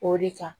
O de kan